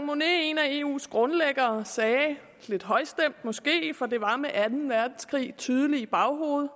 monnet en af eus grundlæggere sagde lidt højstemt måske for det var med anden verdenskrig tydelig i baghovedet